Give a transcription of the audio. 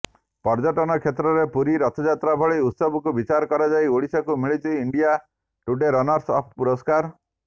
ପର୍ଯ୍ୟଟନ କ୍ଷେତ୍ରରେ ପୁରୀ ରଥଯାତ୍ରା ଭଳି ଉତ୍ସବକୁ ବିଚାର କରାଯାଇ ଓଡିଶାକୁ ମିଳିଛି ଇଣ୍ଡିଆ ଟୁଡେ ରନର୍ସ ଅପ୍ ପୁରସ୍କାର